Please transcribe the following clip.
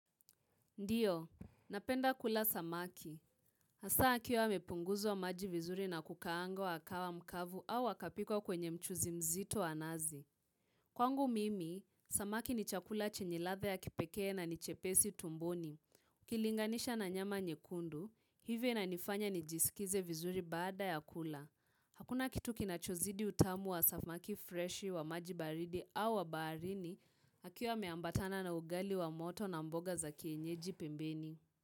Ndiyo, napenda kula samaki. Hasa akiwa amepunguzwa maji vizuri na kukaangwa kawa mkavu au akapikwa kwenye mchuzi mzito wa nazi. Kwangu mimi, samaki ni chakula chenye ladha ya kipekee na ni chepesi tumboni. Kilinganisha na nyama nyekundu, hivyo inanifanya nijisikize vizuri baada ya kula. Hakuna kitu kinachozidi utamu wa samaki freshi wa maji baridi au wa baharini, akiwa ameambatana na ugali wa moto na mboga za kienyeji pembeni.